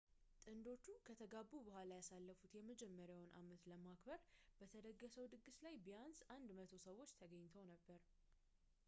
ጥንዶቹ ከተጋቡ በኋላ ያሳለፉትን የመጀመሪያውን አመት ለማክበር በተደገሰው ድግስ ላይ ቢያንስ 100 ሰዎች ተገኝተው ነበር